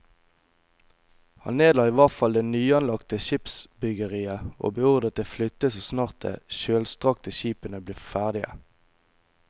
Han nedla i hvert fall det nyanlagte skipsbyggeriet og beordret det flyttet så snart de kjølstrakte skipene ble ferdige.